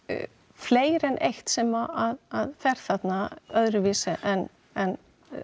fleira en eitt sem fer þarna öðruvísi en en